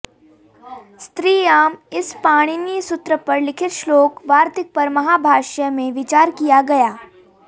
स्त्रियाम् इस पाणिनि सूत्र पर लिखित श्लोक वार्तिक पर महाभाष्य में विचार किया गया